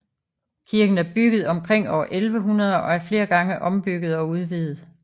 Kirken er bygget omkring år 1100 og er flere gange ombygget og udvidet